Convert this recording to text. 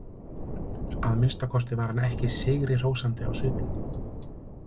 Að minnsta kosti var hann ekki sigrihrósandi á svipinn.